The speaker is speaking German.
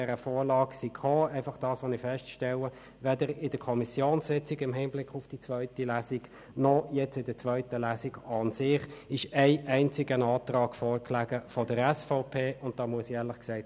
Ich stelle einfach fest, dass weder in der Kommissionssitzung im Hinblick auf die zweite Lesung im Rat noch jetzt, während der zweiten Lesung, ein einziger Antrag der SVP vorlag.